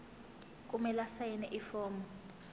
kumele asayine ifomu